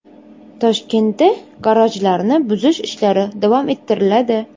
Toshkentda garajlarni buzish ishlari davom ettiriladi.